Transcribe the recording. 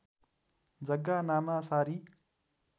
जग्गा नामासारी